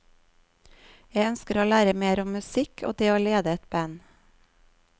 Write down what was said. Jeg ønsker å lære mer om musikk og det å lede et band.